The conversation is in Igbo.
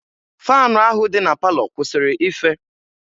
faanụ ahụ dị na palọ kwụsịrị ife